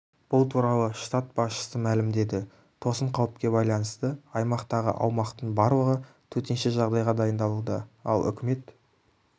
бұл туралы штат басшысы мәлімдеді тосын қауіпке байланысты аймақтағы аумақтың барлығы төтенше жағдайға дайындалуда ал үкімет